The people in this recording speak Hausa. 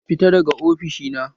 Fita daga ofishina!